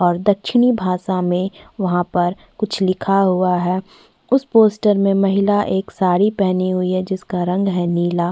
और दक्षिणी भाषा में वहाँ पर कुछ लिखा हुआ है उस पोस्टर में महिला एक साड़ी पहनी हुई है जिसका रंग है नीला --